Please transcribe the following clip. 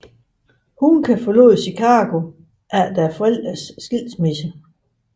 Huncke forlod Chicago efter forældrenes skilsmisse